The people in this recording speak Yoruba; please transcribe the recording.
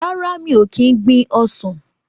Rárá, mi ò kín gbin ọsàn.